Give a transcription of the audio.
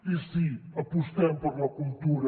i sí apostem per la cultura